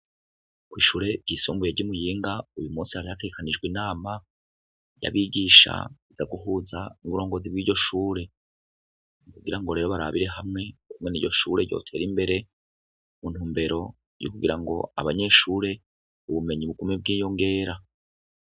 Kwishure ryisumbuye ryi muyinga uyumusi hari hategekanijwe inama yabigisha iza guhuza uburongozi bwiryoshure kugira ngo rero barabire hamwe ukungene iryoshure ryotera imbere muntumbero yukugirango abanyeshure ubumenyi bugume bwiyongera